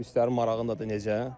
Turistlərin marağındadır necə?